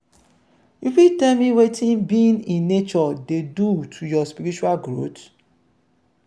you fit tell me wetin being in nature dey do to your spiritual growth?